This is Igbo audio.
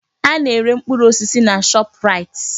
Ana-ere mkpụrụ osisi na Shọpraịt.